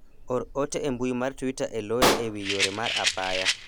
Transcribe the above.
or ote e mbui mar twita e loya ewi yore mar apaya